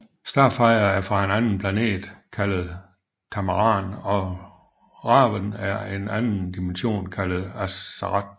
Starfire er fra en anden planet kaldet Tamaran og Raven er fra en anden dimension kaldet Azarath